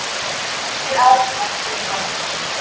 engir aðrir þekktir kraftar